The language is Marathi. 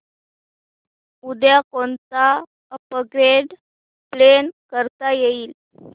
उद्या कोणतं अपग्रेड प्लॅन करता येईल